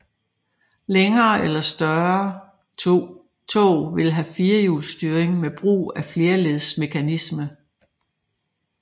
Længere eller større tog vil have firehjulsstyring med brug af flerledsmekanisme